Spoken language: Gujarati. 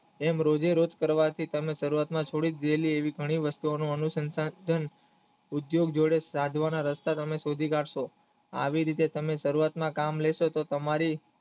કેમ રોજે રોજ ફરવાથી તમેં સારુવાતમાં છોડી દીધેલી ઘણી વસ્તુઓ એનું એનું સંસાન પણ ઉદ્યોગ જોડે સાધવા ના રસ્તા તમે શોધી કાઢશો આવી રીતે તમે સારુવાતમાં કામ લેશો તો તમારી